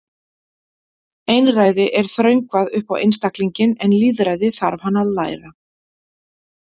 Einræði er þröngvað upp á einstaklinginn en lýðræði þarf hann að læra.